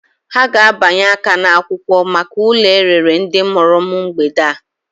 Ha ga-abịanye aka n'akwụkwọ maka ụlọ e rere ndị mụrụ m mgbede a.